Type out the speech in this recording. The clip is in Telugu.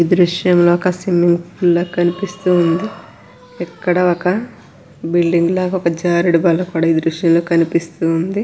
ఈ దృశ్యంలో ఒక స్విమ్మింగ్ పూల్ లా కనిపిస్తూ ఉంది. ఇక్కడ ఒక బిల్డింగ్ లాగా ఒక జారడం బల్ల కూడా ఈ దృశ్యంలో కనిపిస్తూ ఉంది.